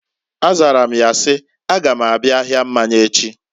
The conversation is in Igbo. A zara m ya si, "A ga m abịa ahịa mmanya echi."